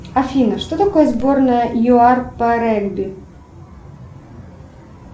афина что такое сборная юар по регби